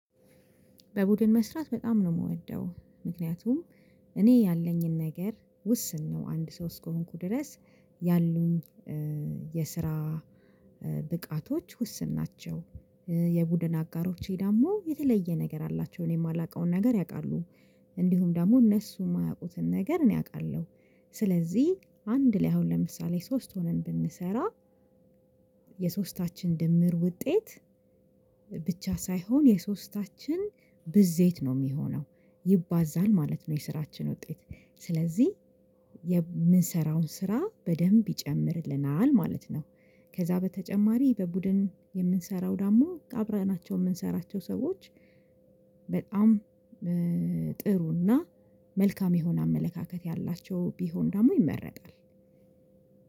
በቡድን መስራት በጣም ነው የምወደው ምክንያቱም እኔ ያለኝን ነገር ውስን ነው አንድ ሰው እስከሆንኩ ድረስ ያሉኝ የስራ ብቃቶች ውስን ናቸው። የቡድን አጋሮቼ ደግሞ የተለየ ነገር አላቸው እኔ የማላውቀውን ነገር ያውቃሉ። እንዲሁም ደግሞ እነሱ የማያውቁትን ነገር እኔ አውቃለሁ። ስለዚህ አንድ ላይ አሁን ለምሳሌ ሶስት ሆነን ብንሰራ የሶስታችን ድምር ውጤት ብቻ ሳይሆን የሶስታችን ብዜት ነው የሚሆነው ይባዛል ማለት ነው። የስራችን ውጤት ስለዚህ የምንሰራውን ስራ በደንብ ይጨምርልናል ማለት ነው። ከዛ በተጨማሪ በቡድን የምንሰራው ደግሞ አብረናቸው የምንሰራቸው ሰዎች በጣም ጥሩና መልካም የሆነ አመለካከት ያላቸው ቢሆን ደግሞ ይመረጣል።